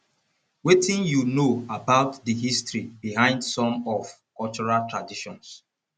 wetin you know about di history behind some of cultural traditions